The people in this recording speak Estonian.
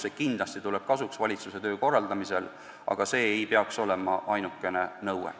See kindlasti tuleb kasuks valitsuse töö korraldamisel, aga see ei peaks olema ainukene nõue.